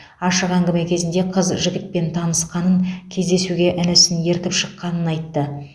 ашық әңгіме кезінде қыз жігітпен танысқанын кездесуге інісін ертіп шыққанын айтты